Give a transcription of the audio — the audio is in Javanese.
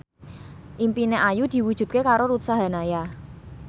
impine Ayu diwujudke karo Ruth Sahanaya